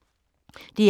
DR1